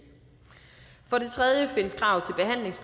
for det tredje findes kravet